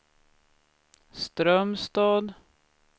Strömstad